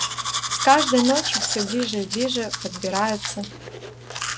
с каждой ночью все ближе и ближе подбираются